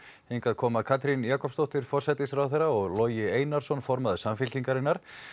hingað koma Katrín Jakobsdóttir forsætisráðherra og Logi Einarsson formaður Samfylkingarinnar